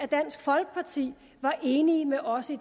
dansk folkeparti var enige med os i